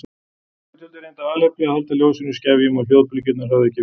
Gluggatjöldin reyndu af alefli að halda ljósinu í skefjum og hljóðbylgjurnar höfðu ekki við.